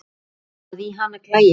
að í hana klæi